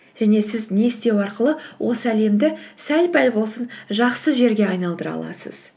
және сіз не істеу арқылы осы әлемді сәл пәл болсын жақсы жерге айналдыра аласыз